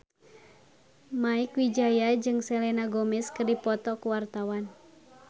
Mieke Wijaya jeung Selena Gomez keur dipoto ku wartawan